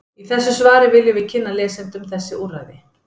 Í þessu svari viljum við kynna lesendum þessi úrræði.